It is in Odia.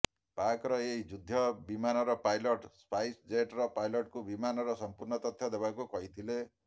ପାକର ଏହି ଯୁଦ୍ଧ ବିମାନର ପାଇଲଟ ସ୍ପାଇସ ଜେଟର ପାଇଲଟକୁ ବିମାନର ସଂପୂର୍ଣ୍ଣ ତଥ୍ୟ ଦେବାକୁ କହିଥିଲେ